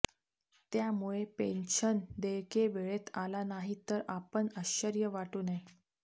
त्यामुळे पेन्शन देयके वेळेत आला नाही तर आपण आश्चर्य वाटू नये